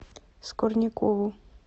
скорнякову